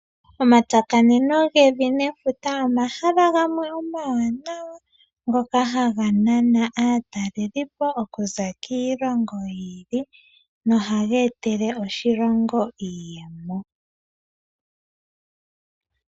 Omatsakaneno gevi nefuta omahala gamwe omawanawa ngoka haga nana aatalelipo okuza kiilongo yi ili nohaga etele oshilongo iiyemo.